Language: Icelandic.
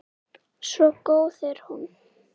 Svo góð er hún.